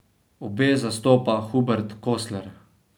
Obe zastopa Hubert Kosler.